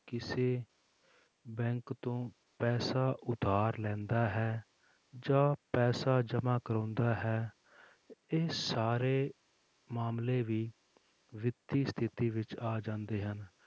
ਕਿਸੇ ਬੈਂਕ ਤੋਂ ਪੈਸਾ ਉਧਾਰ ਲੈਂਦਾ ਹੈ ਜਾਂ ਪੈਸਾ ਜਮਾ ਕਰਵਾਉਂਦਾ ਹੈ, ਇਹ ਸਾਰੇ ਮਾਮਲੇ ਵੀ ਵਿੱਤੀ ਸਥਿਤੀ ਵਿੱਚ ਆ ਜਾਂਦੇ ਹਨ,